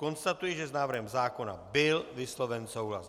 Konstatuji, že s návrhem zákona byl vysloven souhlas.